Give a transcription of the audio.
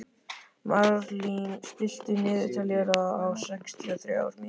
Marlín, stilltu niðurteljara á sextíu og þrjár mínútur.